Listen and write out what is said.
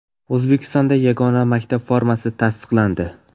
O‘zbekistonda yagona maktab formasi tasdiqlandi.